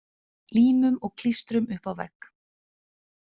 Límum og klístrum upp á vegg.